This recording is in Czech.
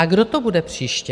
A kdo to bude příště?